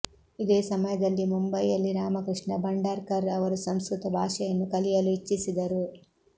ಇದೇ ಸಮಯದಲ್ಲಿ ಮುಂಬಯಿಯಲ್ಲಿ ರಾಮಕೃಷ್ಣ ಭಂಡಾರ್ಕರ್ ಅವರು ಸಂಸ್ಕೃತ ಭಾಷೆಯನ್ನು ಕಲಿಯಲು ಇಚ್ಛಿಸಿದರು